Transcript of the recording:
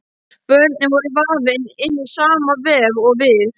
Börnin voru vafin inn í sama vef og við.